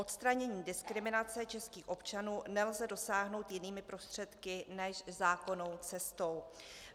Odstranění diskriminace českých občanů nelze dosáhnout jinými prostředky než zákonnou cestou.